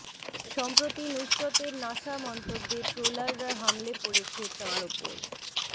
সম্প্রতি নুসরতের নাসা মন্তব্যে ট্রোলাররা হামলে পড়েছে তাঁর উপর